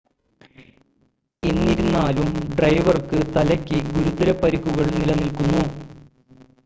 എന്നിരുന്നാലും ഡ്രൈവർക്ക് തലയ്ക്ക് ഗുരുതര പരിക്കുകൾ നിലനിൽക്കുന്നു